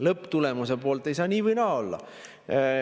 Lõpptulemuse poolt ei saa nii või naa olla.